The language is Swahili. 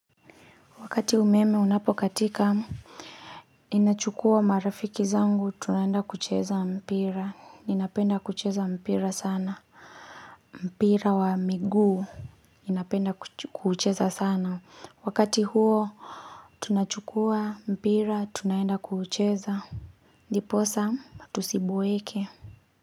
Wakati umeme unapokatika ninachukua marafiki zangu tunaenda kucheza mpira Ninapenda kucheza mpira sana mpira wa miguu Ninapenda kucheza sana Wakati huo Tunachukua mpira tunaenda kucheza ndiposa tusiboeke.